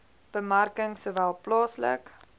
bemarking sowel plaaslik